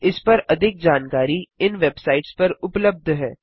इस पर अधिक जानकारी इन वेबसाइट्स पर उबलब्ध है